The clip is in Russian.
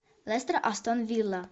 лестер астон вилла